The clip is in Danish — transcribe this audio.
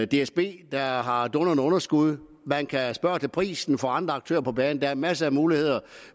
dsb der har har dundrende underskud man kan spørge til prisen for andre aktører på banen der er masser af muligheder